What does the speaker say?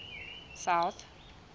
south